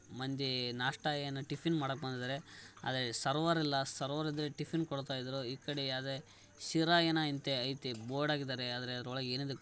ಮಂದಿ ನಾಸ್ಟ ಏನ್ ಟಿಫನ್‌ ಮಾಡಲಿಕ್ಕೆ ಬಂದಿದಾರೆ ಆದ್ರೆ ಸರ್ವರ್‌ ಇಲ್ಲ ಸರ್ವ ರ್‌ ಇದ್ದಿದ್ರೆ ಟಿಫಿನ್‌ ಕೊಡ್ತಾ ಇದ್ರು ಈ ಕಡೆ ಯಾದೆ ಶಿರಾ ಯೇನ ಐತಿ ಬೋರ್ಡ್‌ ಆಕಿದರೆ ಆದ್ರೆ ಅದರೊಳಗೆ ಏನಿದೆ--